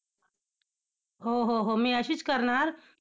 हो हो हो मी अशीच करणार.